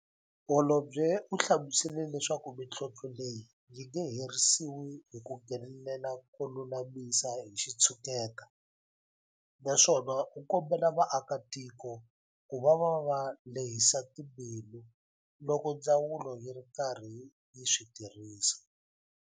Holobye u hlamusele leswaku mitlhontlho leyi yi nge herisiwi hi ku nghenelela ko lulamisa hi xitshuketa, naswona u kombela vaakitiko ku va va lehisa timbilu loko ndzawulo yi ri karhi yi swi tirhisa.